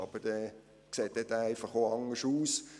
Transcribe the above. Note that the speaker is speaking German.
Aber dieser sieht dann einfach auch anders aus.